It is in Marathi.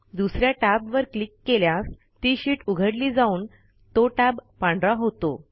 दुस या टॅबवर क्लिक केल्यास ती शीट उघडली जाऊन तो टॅब पांढरा होतो